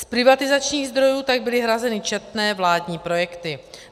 Z privatizačních zdrojů tak byly hrazeny četné vládní projekty.